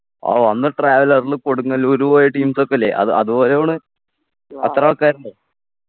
ഓ അന്ന് traveller ൽ കൊടുങ്ങല്ലൂര് പോയ teams ഒക്കെല്ലേ അത് അതുപോലെയാ പോണ് അത്ര ആൾക്കാരുണ്ടൊ